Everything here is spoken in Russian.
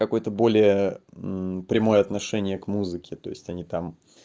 какое-то более прямое отношение к музыке то есть они там